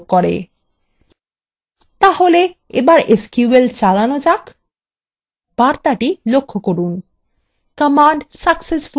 তাহলে এবার এসকিউএল চালানো যাক বার্তাটি লক্ষ্য করুন command successfully executed